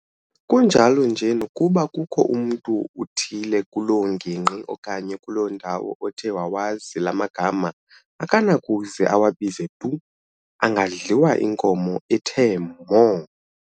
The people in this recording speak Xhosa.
Kunjalo nje nokuba kukho mntu uthile kuloo ngingqi okanye kuloo ndawo othe wawazi laa magama, akanakuze awabize tu, angadliwa inkomo ethi mho!